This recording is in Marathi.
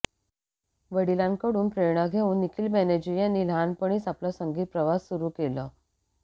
वडिलांकडून प्रेरणा घेउन निखील बॅनर्जी यांनी लहानपणीच आपला संगीत प्रवास सुरु केलं